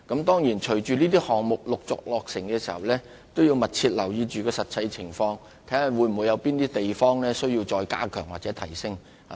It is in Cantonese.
當然，隨着這些項目陸續落成，政府亦會密切留意實際情況，並審視有哪些地方需再加強或提升。